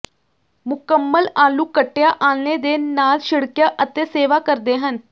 ਮੁਕੰਮਲ ਆਲੂ ਕੱਟਿਆ ਆਲ੍ਹਣੇ ਦੇ ਨਾਲ ਛਿੜਕਿਆ ਅਤੇ ਸੇਵਾ ਕਰਦੇ ਹਨ